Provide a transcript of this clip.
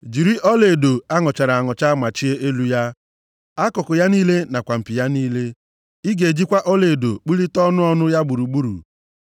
Jiri ọlaedo a nụchara anụcha machie elu ya, akụkụ ya niile nakwa mpi ya niile. Ị ga-ejikwa ọlaedo kpụlite ọnụ ọnụ ya gburugburu.